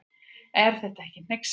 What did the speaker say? Er þetta ekki hneyksli.